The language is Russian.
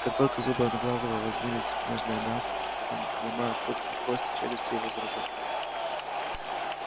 как только зубы одноглазого вонзились в нежное мясо ломая хрупкие кости челюсти его заработали